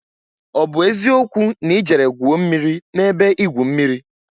O bu eziokwu na I jere gwuo mmiri n'ebe igwu mmiri?